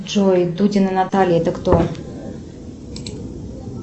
джой дудина наталья это кто